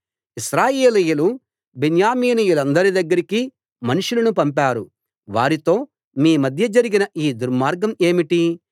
ఇశ్రాయేలీయులు బెన్యామీనీయులందరి దగ్గరికి మనుషులను పంపారు వారితో మీ మధ్య జరిగిన ఈ దుర్మార్గం ఏమిటి